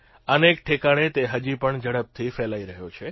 અનેક ઠેકાણે તે હજીપણ ઝડપથી ફેલાઇ રહ્યો છે